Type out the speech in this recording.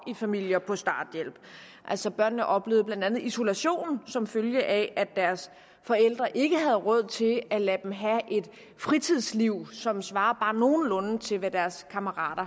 i familier på starthjælp altså børnene oplevede blandt andet isolation som følge af at deres forældre ikke havde råd til at lade dem have et fritidsliv som svarede bare nogenlunde til hvad deres kammerater